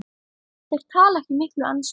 Þeir tala ekki mikla ensku.